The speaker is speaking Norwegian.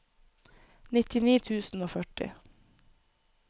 nittini tusen og førti